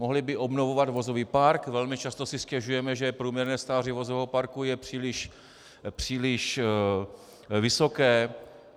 Mohli by obnovovat vozový park, velmi často si stěžujeme, že průměrné stáří vozového parku je příliš vysoké.